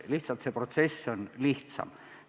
Lihtsalt see protsess on lihtsam.